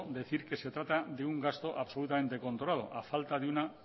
decir que se trata de un gasto absolutamente controlado a falta de una